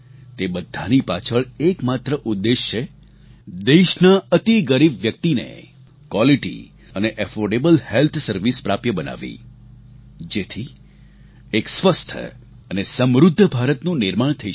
તે બધાની પાછળ એક માત્ર ઉદ્દેશ્ય છે દેશના અતિ ગરીબ વ્યક્તિને ક્વાલિટી અને એફોર્ડેબલ હેલ્થ સર્વિસ પ્રાપ્ય બનાવવી જેથી એક સ્વસ્થ અને સમૃદ્ધ ભારતનું નિર્માણ થઈ શકે